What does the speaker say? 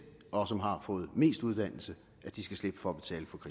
og som har fået mest uddannelse skal slippe for